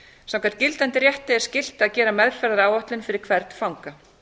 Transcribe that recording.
meðferðaráætlana samkvæmt gildandi rétti er skylt að gera meðferðaráætlun fyrir hvern fanga